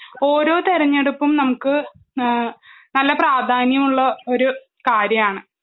ഓരോ തെരഞ്ഞെടുപ്പും നമുക്ക് ഏഹ് നല്ല പ്രാധാന്യമുള്ള ഒരു കാര്യാണ്.